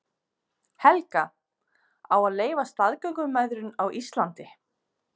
Helga: Á að leyfa staðgöngumæðrun á Íslandi?